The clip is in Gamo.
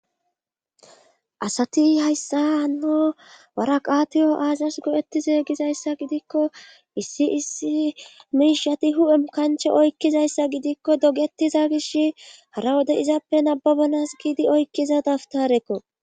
Asati hayssa hanno waraqatiyo aazas go7ettizey gizayssa gidikko issi issi miishati hu7em kanche oykkizayssa gidikko dogettiza gish hara wode izappe nababanas giidi oykkiza daftarekko.